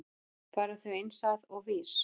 Fara þau eins að og VÍS?